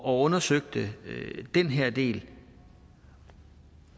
og undersøgte den her del